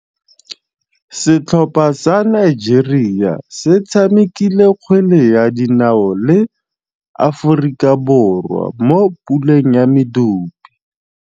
Setlhopha sa Nigeria se tshamekile kgwele ya dinaô le Aforika Borwa mo puleng ya medupe.